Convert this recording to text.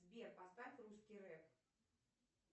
сбер поставь русский реп